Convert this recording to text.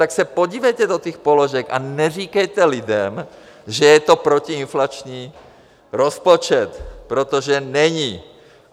Tak se podívejte do těch položek a neříkejte lidem, že je to protiinflační rozpočet, protože není.